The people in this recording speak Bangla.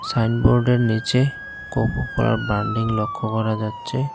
সাইনবোর্ডের নীচে কোকোকোলার ব্রানডিং লক্ষ করা যাচ্ছে।